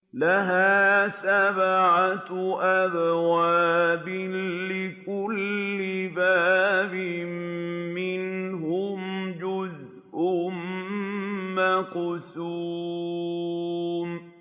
لَهَا سَبْعَةُ أَبْوَابٍ لِّكُلِّ بَابٍ مِّنْهُمْ جُزْءٌ مَّقْسُومٌ